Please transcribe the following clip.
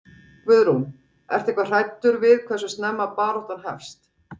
Guðrún: Ertu eitthvað hræddur við hversu snemma baráttan hefst?